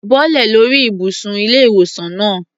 Bọ́lẹ̀ lórí ìbùsùn ilé-ìwòsaln náà.